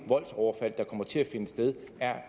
er